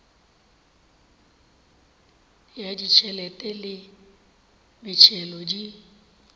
ya ditšhelete le metšhelo di